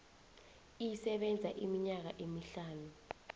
isebenza iminyaka emihlanu